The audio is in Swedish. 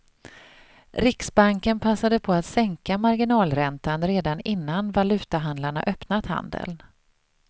Riksbanken passade på att sänka marginalräntan redan innan valutahandlarna öppnat handeln.